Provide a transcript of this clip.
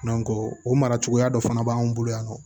o mara cogoya dɔ fana b'an bolo yan nɔ